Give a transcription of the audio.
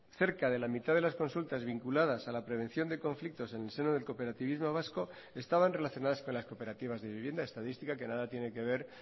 cerca de la mitad de las consultas vinculadas a la prevención de conflictos en el seno del cooperativismo vasco estaban relacionadas con las cooperativas de vivienda estadística que nada tiene que ver